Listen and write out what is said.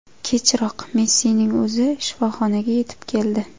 Kechroq Messining o‘zi shifoxonaga yetib keldi.